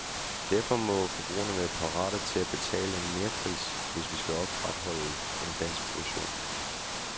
Derfor må forbrugerne være parate til at betale en merpris, hvis vi skal opretholde en dansk produktion.